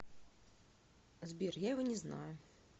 сбер я его не знаю